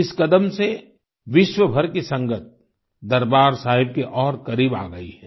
इस कदम से विश्वभर की संगत दरबार साहिब के और करीब आ गई है